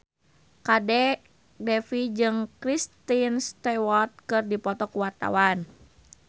Kadek Devi jeung Kristen Stewart keur dipoto ku wartawan